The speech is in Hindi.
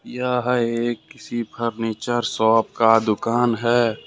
यह एक किसी फर्नीचर शॉप का दुकान है।